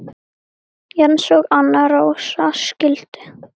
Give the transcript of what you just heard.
Jens og Anna Rósa skildu.